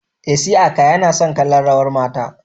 Isiaka Yana son kallon rawar mata.